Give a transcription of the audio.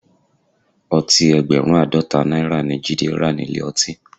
Ọtí ẹgbẹ̀rún Àádọ́ta náírà ni Jide rà nílé ọtí